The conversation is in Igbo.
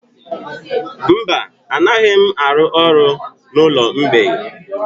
Mba, anaghị m arụ ọrụ n'ụlọ mgbei.